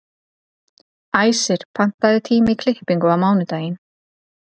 Æsir, pantaðu tíma í klippingu á mánudaginn.